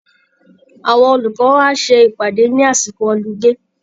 Àwọn olùkọ́ á ṣe ìpàdé ní àsìkò họlidé